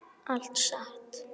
Allt satt.